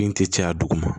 Bin tɛ caya dugu ma